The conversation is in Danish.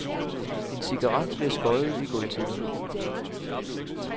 En cigaret bliver skoddet i gulvtæppet.